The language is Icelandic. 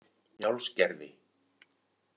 Njálsgerði